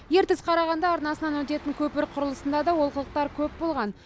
ертіс қарағанды арнасынан өтетін көпір құрылысында да олқылықтар көп болған